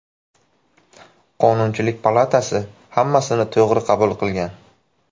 Qonunchilik palatasi hammasini to‘g‘ri qabul qilgan.